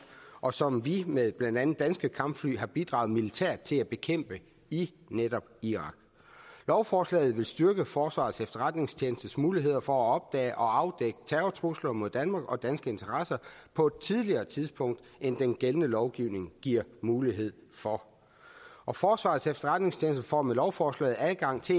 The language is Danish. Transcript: og som vi med blandt andet danske kampfly har bidraget militært til at bekæmpe i netop irak lovforslaget vil styrke forsvarets efterretningstjenestes muligheder for at opdage og afdække terrortrusler mod danmark og danske interesser på et tidligere tidspunkt end den gældende lovgivning giver mulighed for og forsvarets efterretningstjeneste får med lovforslaget adgang til